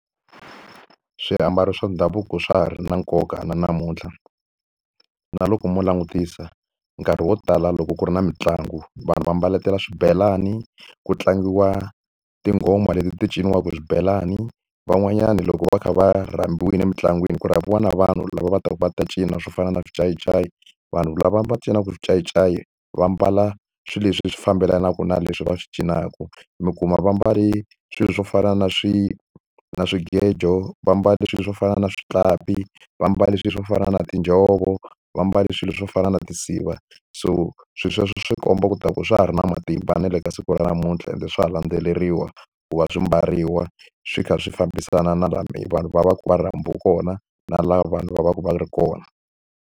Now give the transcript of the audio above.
Swiambalo swa ndhavuko swa ha ri na nkoka na namuntlha. Na loko mo langutisa nkarhi wo tala loko ku ri na mitlangu vanhu va mbaletela swibelani, ku tlangiwa tinghoma leti ti cinciwaka hi swibelani, van'wanyana loko va kha va rhambiwile emitlangwini ku rhambiwa na vanhu lava va taka va ta cina swo fana na swinciyincayi. Vanhu lava va cinaka xincayincayi va mbala swilo leswi fambelanaka na leswi va swi cinaka. Mi kuma va mbale swilo swo fana na na swigejo, va mbale swilo swo fana na switlapi, va mbale swilo swo fana na tinjhovo va mbale swilo swo fana na . So swilo sweswo swi komba leswaku swa ha ri na matimba na le ka siku ra namuntlha ende swa ha landzeleriwa ku va swi mbariwa swi kha swi fambisana na laha vanhu va va ku va rhambiwe kona, na laha vanhu va va ka va ri kona.